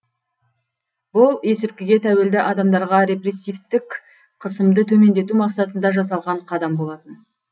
бұл есірткіге тәуелді адамдарға репрессивтік қысымды төмендету мақсатында жасалған қадам болатын